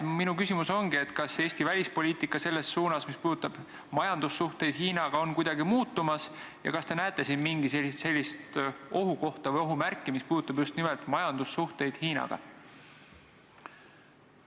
Minu küsimus ongi järgmine: kas Eesti välispoliitika selles suunas, mis puudutab majandussuhteid Hiinaga, on kuidagi muutumas ja kas te näete siin mingisugust ohukohta või ohumärki, mis puudutab just nimelt majandussuhteid Hiinaga?